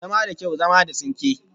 Zama da kyau, zama da tsinke